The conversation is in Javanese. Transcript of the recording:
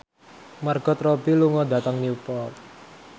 Margot Robbie lunga dhateng Newport